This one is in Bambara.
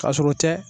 Ka sɔrɔ o tɛ